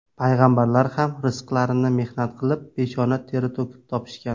Payg‘ambarlar ham rizqlarini mehnat qilib, peshona teri to‘kib topishgan.